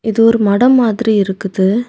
இது ஒரு மடம் மாதிரி இருக்குது.